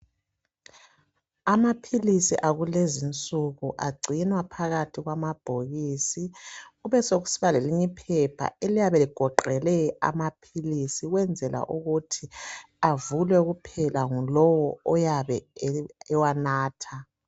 Amaphilisi akulezinsuku agcinwa phakathi kwamabhokisi kubesokusiba lelinye iphepha eliyabe ligoqele amaphilisi ukwenzela ukuthi avulwe kuphela ngulowo oyabe ewanatha.